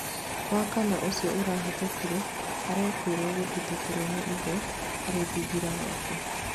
Wakana ũcio ũrahetũkire, arekũĩrwo kũhithũkirwo nĩ ithe arĩ thingira gwake